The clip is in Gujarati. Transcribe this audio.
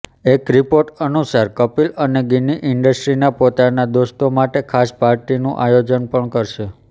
એક રિપોર્ટ અનુસાર કપિલ અને ગિન્ની ઈન્ડસ્ટ્રીના પોતાના દોસ્તો માટે ખાસ પાર્ટીનું આયોજન પણ કરશે